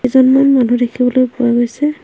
কেইজনমান মানুহ দেখিবলৈ পোৱা গৈছে।